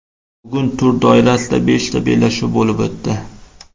Bugun tur doirasida beshta bellashuv bo‘lib o‘tdi.